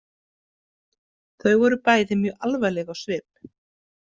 Þau voru bæði mjög alvarleg á svip.